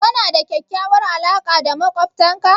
Kana da kyakkyawar alaqa da maƙwabtanka?